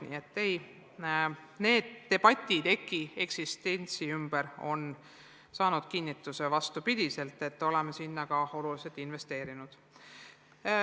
Nii et need debatid EKI eksistentsi üle on saanud kinnituse, oleme sinna ka oluliselt investeerinud.